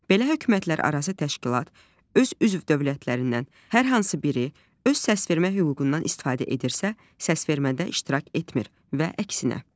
Belə hökumətlərarası təşkilat öz üzv dövlətlərindən hər hansı biri öz səsvermə hüququndan istifadə edirsə, səsvermədə iştirak etmir və əksinə.